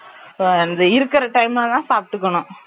இந்த இருக்கிர time ல தான் சாப்பிடுகனும்